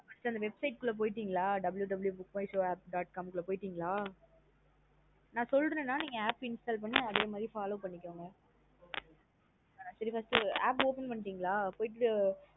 First அந்த Websit குள்ள போய்டிங்களா www book my show dot com குள்ள போயடிங்கால ந சொல்றேன் நா நீங்க app install பண்ணி அதே மாத்ரி Follow பண்ணிகோங்க app open பண்ணிடிங்களா நா